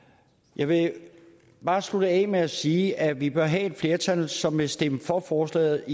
jeg vil bare slutte af med at sige at vi bør have et flertal som vil stemme for forslaget